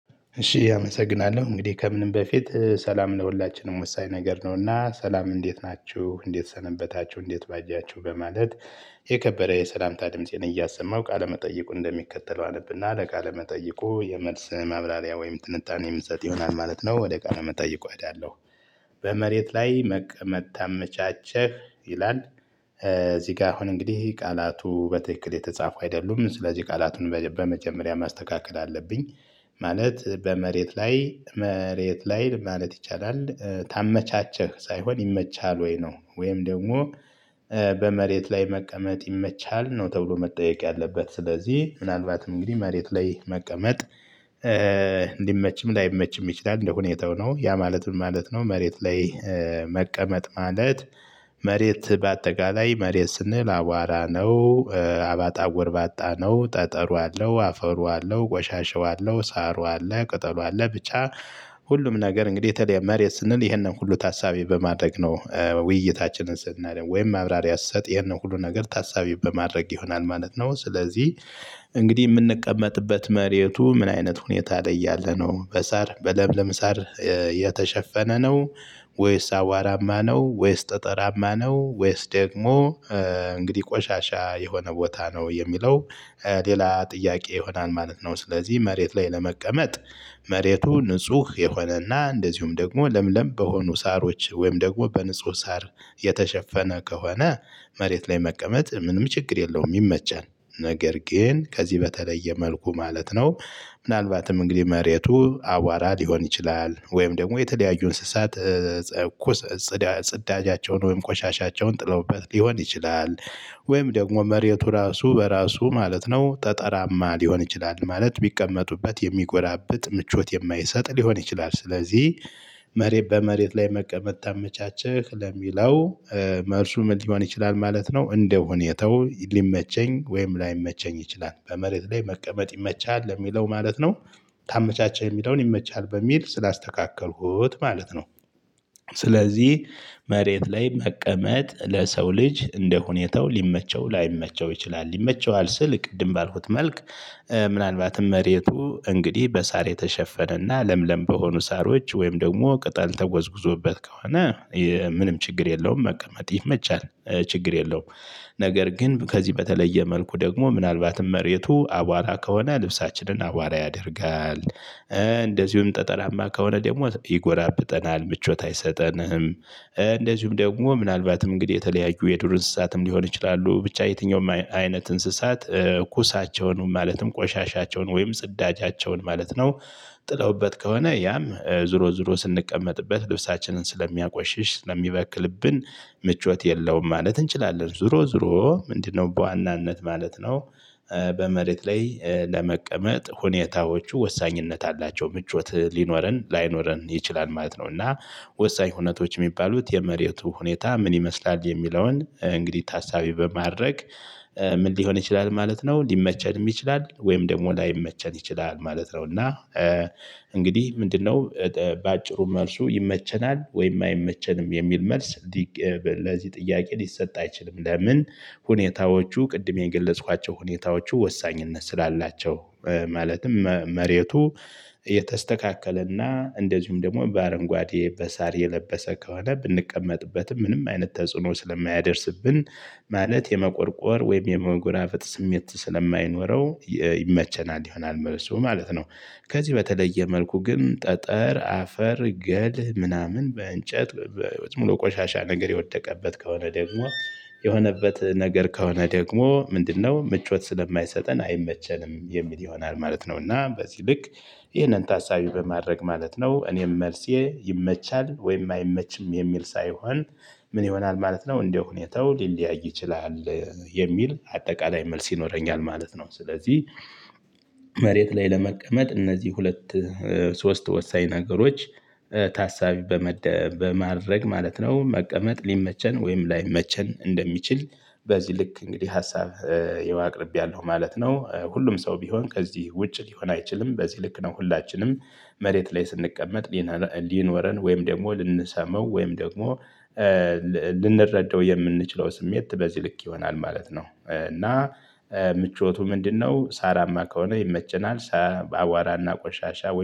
እሺ አመሰግናለሁ እንግዲህ ከምንም በፊት ሰላም ለሁላችንም ወሳኝ ነገር ነውና ሰላም እንዴት ናችሁ እንዴት ሰነበታችሁ እንዴት ባጃቹሁ በማለት የከበደ የሰላምታ ድምፄን እያሰማው ቃለመጠይቁ እንደሚከተለው አነብና ለቃለ መጠይቁ የመልስ ማብራሪያ ወይም ትንታኔ ምሰጥ ይሆናል ማለት ነው ወደ ቃለ መጠይቁ እኸዳለው በመሬት ላይ መቅመጥ ታመቻቸህ ይላል። እዚህ ጋር አሁን እንግዲህ ቃላቱ በትክክል የተጻፉ አይደሉም ስለዚህ ቃላቱን በመጀመሪያ ማስተካከል አለብኝ። ማለት በመሬት ላይ መሬት ላይ ማለት ይቻላል ታመቻቸህ ሳይሆን ይመቻል ወይ ነው ወይም ደግሞ። በመሬት ላይ መቀመጥ ይመቻል ነው ተብሎ መጠየቅ ያለበት ስለዚህ ምናልባትም እንግዲህ መሬት ላይ መቀመጥ እንዲመችም ላይመችም ይችላል እንደሁኔታው ነው። ያ ማለት ምን ማለት ነው? መሬት ላይ መቀመጥ ማለት መሬት በአጠቃላይ መሬት ስንል አቧራ ነው። አባጣ ጎርባጣ ነው ጠጠሩ አለው አፈሩ አለው ቆሻሻው አለው ሳሩ አለ ቅጠሉ አለ ብቻ። ሁሉም ነገር እንግዲህ ታዳ መሬት ስንል ይሄንን ሁሉ ታሳቢ በማድረግ ነው ውይይታችን ስናደርግ ወይም መብራሪያ ስሰጥ ይሄን ሁሉ ነገር ታሳቢ በማድረግ ይሆናል ማለት ነው። ስለዚህ እንግዲህ ምንቀመጥበት መሬቱ ምን አይነት ሁኔታ ላይ ያለ ነው በሳር በለምለም ሳር? የተሸፈነ ነው? ወይስ አዋራማ ነው? ወይስ ጠጠራማ ነው? ወይስ ደግሞ እንግዲህ ቆሻሻ የሆነ ቦታ ነው የሚለው ሌላ ጥያቄ ይሆናል ማለት ነው። ስለዚህ መሬት ላይ ለመቀመጥ መሬቱ ንጹህ የሆነና እንደዚሁም ደግሞ ለምለም በሆኑ ሳሮች ወይም ደግሞ በንጹህ ሳር የተሸፈነ ከሆነ? መሬት ላይ መቀመጥ ምንም ችግር የለውም ይመቻል። ነገር ግን ከዚህ በተለየ መልኩ ማለት ነው። ምናልባትም እንግዲህ መሬቱ አዋራ ሊሆን ይችላል ወይም ደግሞ የተለያዩ እንስሳት ኩስ ጽዳጃቸውን ወይም ቆሻሻቸውን ጥለውበት ሊሆን ይችላል። ወይም ደግሞ መሬቱ ራሱ በራሱ ማለት ነው ጠጠራማ ሊሆን ይችላል ማለት ቢቀመጡበት የሚጎዳብጥ ምቾት የማይሰጥ ሊሆን ይችላል ስለዚህ። መሬት በመሬት ላይ መቀመጥ ታመቻቸክ ለሚለው መልሱ ምን ሊሆን ይችላል ማለት ነው። እንደ ሁኔታው ሊመቸኝ ወይም ላይመቸኝ ይችላል በመሬት ላይ መቀመጥ ይመቻል ለሚለው ማለት ነው። ታመቻቸ የሚለውን ይመቻሀል በሚል ስላስተካኸልሁት ማለት ነው። ስለዚህ መሬት ላይ መቀመጥ ለሰው ልጅ እንደሁኔታው ሊመቸው ላይመቸው ይችላል ይመቸዋል ስል ቅድም ባልሁት መልክ። ምናልባት መሬቱ እንግዲህ በሳር የተሸፈነና ለምለም በሆኑ ሳሮች ወይም ደግሞ ቅጠል ተጎዝጉዞበት ከሆነ? ምንም ችግር የለውም መቀመጥ ይመቻል ችግር የለውም። ነገር ግን ከዚህ በተለየ መልኩ ደግሞ ምናልባትም መሬቱ አቧራ ከሆነ ልብሳችንን አዋራ ያደርጋል። እንደዚሁም ጠጠራማ ከሆነ ደግሞ ይጎራብጠናል ምቾት አይሰጠንም። እንደዚሁም ደግሞ ምናልባትም እንግዲህ የተለያዩ የዱር እንስሳትም ሊሆን ይችላሉ ብቻ የትኛውም አይነት እንስሳት ኩሳቸውን ማለትም ቆሻሻቸውን ወይም ጽዳጃቸውን ማለት ነው። ጥለውበት ከሆነ ያም ዙሮ ዙሮ ስንቀመጥበት ልብሳችንን ስለሚያቆሽሽ ስለሚበክልብን ምቾት የለውም ማለት እንችላለን ዞሮ ዞሮ ምንድነው በዋናነት ማለት ነው? በመሬት ላይ ለመቀመጥ ሁኔታዎቹ ወሳኝነት አላቸው ምቾት ሊኖረን ላይኖረን ይችላል ማለት ነው። እና ወሳኝ ሁነቶች የሚባሉት የመሬቱ ሁኔታ ምን ይመስላል የሚለውን እንግዲህ ታሳቢ በማድረግ። ምን ሊሆን ይችላል ማለት ነው። ሊመቸንም ይችላል ወይም ደግሞ ላይመቸን ይችላል ማለት ነው። እና እንግዲህ ምንድነው? በአጭሩ መልሱ ይመቸናል ወይም አይመቸንም የሚል መልስ። ለዚህ ጥያቄ ሊሰጥ አይችልም ለምን? ሁኔታዎቹ ቅድም የገለጽኳቸው ሁኔታዎቹ ወሳኝነት ስላላቸው። ማለትም መሬቱ የተስተካከለና እንደዚሁም ደግሞ በአረንጓዴ በሳር የለበሰ ከሆነ ብንቀመጥበትም ምንም አይነት ተጽዕኖ ስለማያደርስብን። ማለት የመቆርቆር ወይም የመጎናፈጥ ስሜት ስለማይኖረው ይመቸናል ይሆናል መልሱ ማለት ነው። ከዚህ በተለየ መልኩ ግን ጠጠር አፈር ገልህ ምናምን በእንጨት በሙሉ ቆሻሻ ነገር የወደቀበት ከሆነ ደግሞ የሆነበት ነገር ከሆነ ደግሞ ምንድነው ምቾት ስለማይሰጠን አይመቸንም የሚል ይሆናል ማለት ነው። እና በዚህ ልክ። ይህንን ታሳቢ በማድረግ ማለት ነው እኔም መልሴ ይመቻል ወይም አይመችም የሚል ሳይሆን። ምን ይሆናል ማለት ነው እንደ ሁኔታው ሊለያይ ይችላል። የሚል አጠቃላይ መልስ ይኖረኛል ማለት ነው። ስለዚህ። መሬት ላይ ለመቀመጥ እነዚህ ሁለት ሶስት ወሳኝ ነገሮች። ታሳቢ በማድረግ ማለት ነው መቀመጥ ሊመቸን ወይም ላይመቸን እንደሚችል። በዚህ ልክ እንግዲህ ሀሳብ ያው አቅርብያለሁ ማለት ነው። ሁሉም ሰው ቢሆን ከዚህ ውጭ ሊሆን አይችልም። በዚህ ልክ ነው። ሁላችንም መሬት ላይ ስንቀመጥ። ሊኖረን ወይም ደግሞ ልንሰማው ወይም ደግሞ ልንረዳው የምንችለው ስሜት በዚህ ልክ ይሆናል ማለት ነው። እና ምቾቱ ምንድነው? ሳራማ ከሆነ ይመቸናል። በአዋራና ቆሻሻ